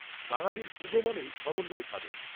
বাঙালির পুজো মানেই সমন্বয় সাধন